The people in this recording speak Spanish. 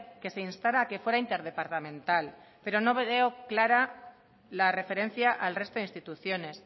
que se instara a que fuera interdepartamental pero no veo clara la referencia al resto de instituciones